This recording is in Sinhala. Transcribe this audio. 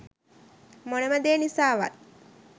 මොනම දේ නිසාවත්